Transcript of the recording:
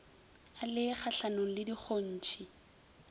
a le kgahlanong le dikgontšhi